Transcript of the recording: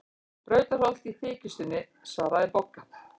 Brautarholt í þykjustunni, svaraði Bogga.